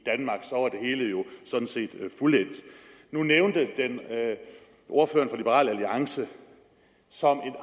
hele jo sådan set fuldendt nu nævnte ordføreren for liberal alliance som